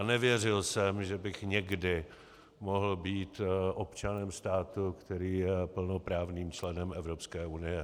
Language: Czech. A nevěřil jsem, že bych někdy mohl být občanem státu, který je plnoprávným členem Evropské unie.